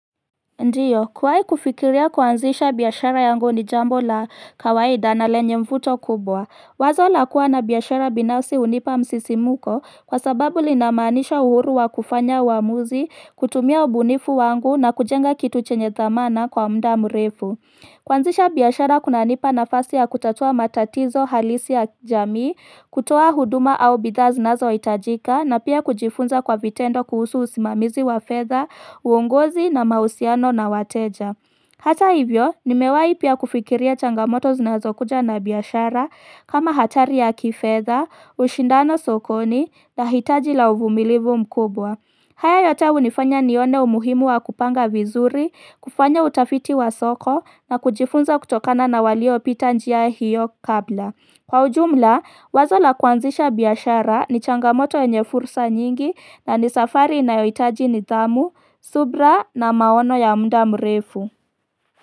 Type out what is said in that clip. Ndiyo, kuwai kufikiria kuanzisha biashara yangu ni jambo la kawaida na lenye mvuto kubwa. Wazo la kuwa na biashara binafsi hunipa msisimuko kwa sababu linamaanisha uhuru wa kufanya uamuzi, kutumia ubunifu wangu na kujenga kitu chenye dhamana kwa muda mrefu kuanzisha biashara kunanipa nafasi ya kutatua matatizo halisi ya jamii, kutoa huduma au bidhaa zinazohitajika na pia kujifunza kwa vitendo kuhusu usimamizi wa fedha, uongozi na mahusiano na wateja. Hata hivyo, nimewai pia kufikiria changamoto zinazo kuja na biashara kama hatari ya kifedha, ushindano sokoni na hitaji la uvumilivu mkubwa. Hayo yote hunifanya nione umuhimu wa kupanga vizuri, kufanya utafiti wa soko na kujifunza kutokana na waliopita njia hiyo kabla. Kwa ujumla, wazo la kuanzisha biashara ni changamoto yenye fursa nyingi na ni safari inayohitaji nidhamu, subira na maono ya muda mrefu.